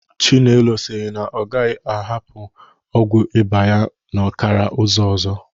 Chinelo siri na ọ gaghị agbahapụ ọgwụ ịba ya n'ọkara ụzọ ọzọ